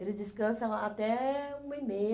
Eles descansam a até um e meia